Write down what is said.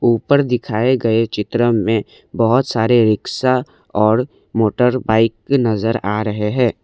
ऊपर दिखाए गए चित्र में बहुत सारे रिक्शा और मोटर बाइक नजर आ रहे हैं।